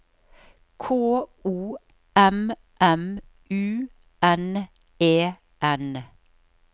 K O M M U N E N